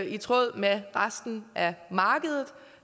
i tråd med resten af markedet